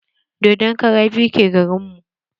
Dodon kara biyu ke garin mu.